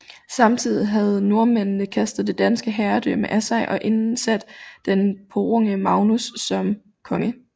Samtidig havde nordmændene kastet det danske herredømme af sig og indsat den purunge Magnus som konge